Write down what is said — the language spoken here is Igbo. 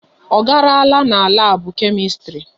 Ọ garala n'labu Kemistri?